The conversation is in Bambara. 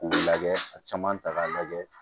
K'u lajɛ a caman ta k'a lajɛ